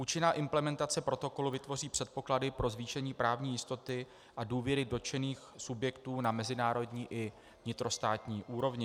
Účinná implementace protokolu vytvoří předpoklady pro zvýšení právní jistoty a důvěry dotčených subjektů na mezinárodní i vnitrostátní úrovni.